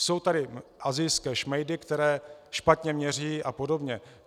Jsou tady asijské šmejdy, které špatně měří a podobně.